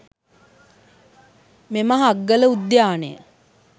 මෙම හග්ගල උද්‍යානය